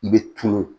I bɛ tunun